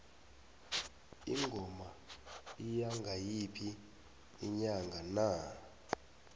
ingoma iya ngayiphi inyanga na